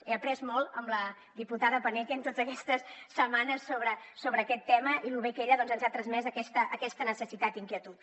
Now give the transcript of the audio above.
he après molt amb la diputada paneque en totes aquestes setmanes sobre aquest tema i amb lo bé que ella doncs ens ha transmès aquesta necessitat i inquietud